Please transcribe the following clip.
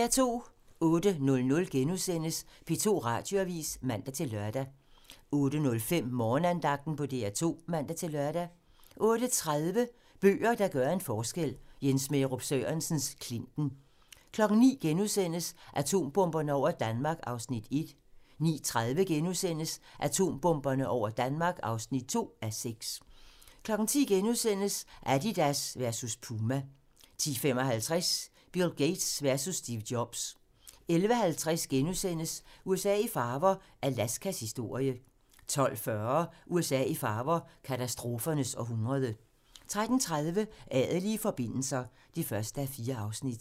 08:00: P2 Radioavis *(man-lør) 08:05: Morgenandagten på DR2 (man-lør) 08:30: Bøger, der gør en forskel: Jens Smærup Sørensens "Klinten" 09:00: Atombomberne over Danmark (1:6)* 09:30: Atombomberne over Danmark (2:6)* 10:00: Adidas versus Puma * 10:55: Bill Gates versus Steve Jobs 11:50: USA i farver - Alaskas historie * 12:40: USA i farver - katastrofernes århundrede 13:30: Adelige forbindelser (1:4)